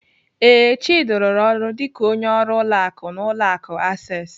Ee, Chidi rụrụ ọrụ dịka onye ọrụ ụlọ akụ n'ụlọ akụ Access.